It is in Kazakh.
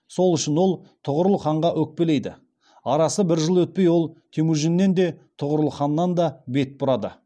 сол үшін ол тұғырыл ханға өкпелейді арасы бір жыл өтпей ол темужіннен де тұғырыл ханнан да бет бұрады